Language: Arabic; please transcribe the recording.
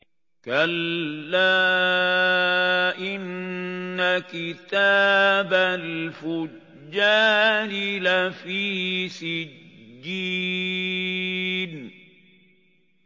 كَلَّا إِنَّ كِتَابَ الْفُجَّارِ لَفِي سِجِّينٍ